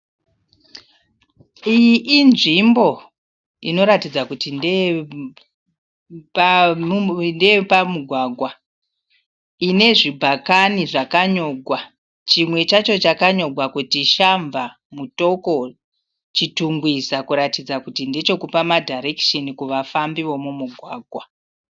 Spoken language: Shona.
Iyi inzvimbo inoratidza kuti ndeyepamugwagwa ine zvibhakani zvakanyogwa. Chimwe chacho chakanyogwa kunzi Shamva, Mutoko Chitungwiza kuratidza kuti ndechekupa ma dhairekisheni kuvafambi vomumugwagwa.